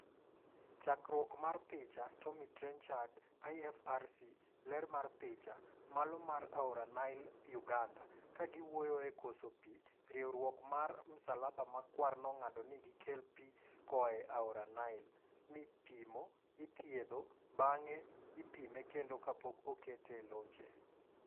Chakruok mar picha, Tommy Trenchard / IFRC.Ler mar picha, Malo mar aora Nile, Uganda . Kagi wuoye e koso pii, riwrok mar msalaba ma kwar nong'ado ni gi kel pii koa aora Nile, mi pimo, ithiedho bang'e ipime kendo kapok okete e loche.